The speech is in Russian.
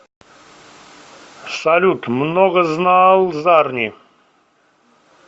салют многознал зарни